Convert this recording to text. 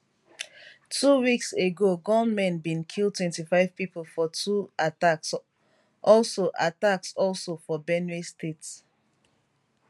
two weeks ago gunmen bin kill 25 pipo for two attacks also attacks also for benue state